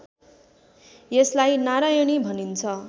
यसलाई नारायणी भनिन्छ